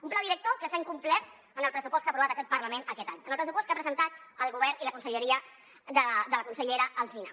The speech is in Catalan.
un pla director que s’ha incomplert en el pressupost que ha aprovat aquest parlament aquest any en el pressupost que han presentat el govern i la conselleria de la consellera alsina